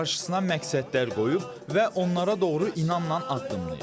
Qarşısına məqsədlər qoyub və onlara doğru inamla addımlayıb.